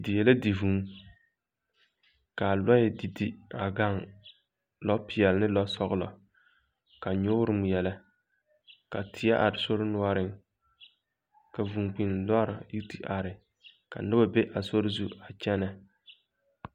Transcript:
Die la di vũũ. Ka a lɔɛ didi a gaŋ. Lɔpeɛl le lɔsɔglɔ, ka nyoore ŋmeɛlɛ, ka teɛ are sori noɔreŋ, ka vũũ-kpinni lɔɔre yi te are, ka noba be a sori zu a kyɛnɛ.